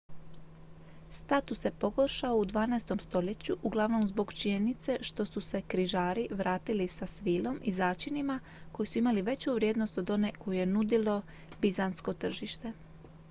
status se pogoršao u dvanaestom stoljeću uglavnom zbog činjenice što su se križari vratili sa svilom i začinima koji su imali veću vrijednost od one koju je nudilo bizantsko tržište